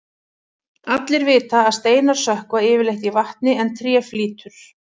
Allir vita að steinar sökkva yfirleitt í vatni en tré flýtur.